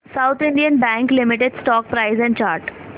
south Indian bank limited stock price and chart